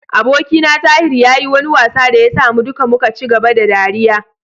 Abokina Tahir ya yi wani wasa da ya sa mu duka muka ci gaba da ɗariya.